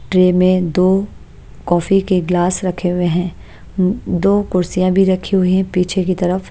Tray में दो coffee के गिलास रखे हुए हैं दो कुर्सियां भी रखी हुई हैं पीछे की तरफ।